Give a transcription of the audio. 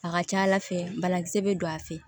A ka ca ala fɛ banakisɛ bɛ don a fɛ